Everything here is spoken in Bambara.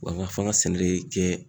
Wa n ka f'an ka sɛnɛli kɛ.